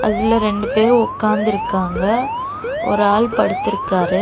அதுல ரெண்டு பேர் உக்காந்துருக்காங்க ஒரு ஆள் படுத்துருக்காரு.